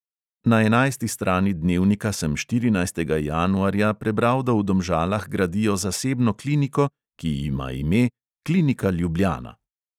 Na enajsti strani dnevnika sem štirinajstega januarja prebral, da v domžalah gradijo zasebno kliniko, ki ima ime klinika ljubljana.